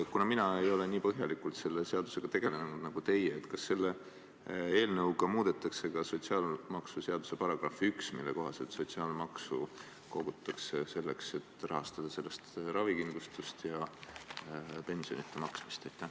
Kuna mina ei ole selle seadusega nii põhjalikult tegelenud nagu teie, siis küsin: kas selle eelnõuga muudetakse ka sotsiaalmaksuseaduse § 1, mille kohaselt kogutakse sotsiaalmaksu selleks, et rahastada ravikindlustust ja pensionide maksmist?